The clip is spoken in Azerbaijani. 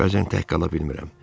Bəzən tək qala bilmirəm.